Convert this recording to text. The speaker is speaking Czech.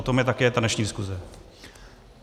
O tom je také ta dnešní diskuze.